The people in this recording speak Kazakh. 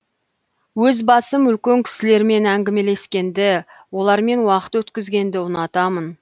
өз басым үлкен кісілермен әңгімелескенді олармен уақыт өткізгенді ұнатамын